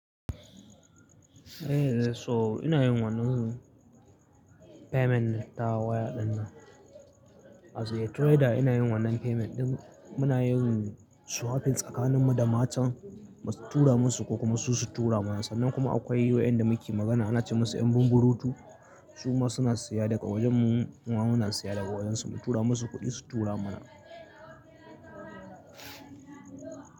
Eh, so ina yin wannan payment ta waya ɗinnan. As a trader ina yin wannan payment, muna yin swapping tsakanin mu da matan, mu tura musu ko kuma su tura mana. Sannan kuma akwai wayanda muke magana ana ce musu 'yan bumburutu. Su ma suna siya daga wajen mu, muma na siya daga wajen su, mu tura musu kuɗi su tura mana.